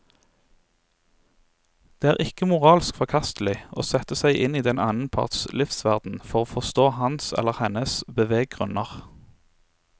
Det er ikke moralsk forkastelig å sette seg inn i den annen parts livsverden for å forstå hans eller hennes beveggrunner.